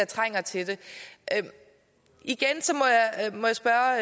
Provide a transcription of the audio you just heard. trænger til det igen må jeg spørge